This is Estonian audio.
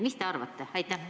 Mis te arvate?